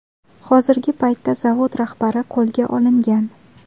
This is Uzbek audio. Hozirgi paytda zavod rahbari qo‘lga olingan.